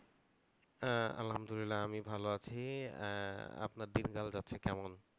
আহ আলহামদুলিল্লাহ আমি ভালো আছি। আহ আপনার দিনকাল যাচ্ছে কেমন?